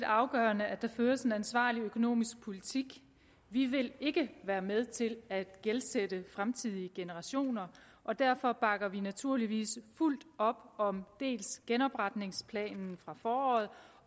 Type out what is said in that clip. afgørende at der føres en ansvarlig økonomisk politik vi vil ikke være med til at gældsætte fremtidige generationer og derfor bakker vi naturligvis fuldt op om dels genopretningsplanen fra foråret